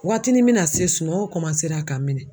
Waatinin mina se sunɔgɔ ka n minɛ.